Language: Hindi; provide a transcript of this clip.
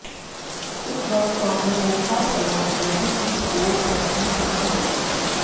इस वर्कशॉप में ओंकार शर्मा कमेटी की रिपोर्ट पर भी चर्चा होगी